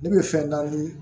Ne bɛ fɛn naani